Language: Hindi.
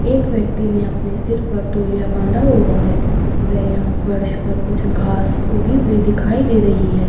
एक व्यक्ति ने अपने सिर पर तोलिया बांधा हुआ है वे यहाँ फ़र्श पर कुछ घास उग्गी हुई दिखाई दे रही है।